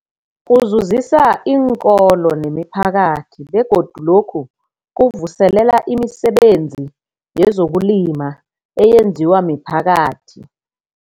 Kuzuzisa iinkolo nemiphakathi begodu lokhu kuvuselela imisebenzi yezokulima eyenziwa miphakathi.